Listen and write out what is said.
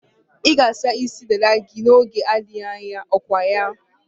Ị ga-asa isi dada gị n'oge na-adịghị anya, okwaya?